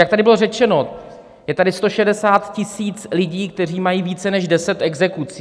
Jak tady bylo řečeno, je tady 160 000 lidí, kteří mají více než 10 exekucí.